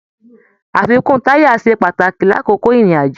Àfikún taya se pàtàkì lakoko irin-ajo.